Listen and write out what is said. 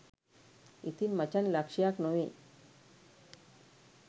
ඉතින් මචන් ලක්ෂයක් නොවේ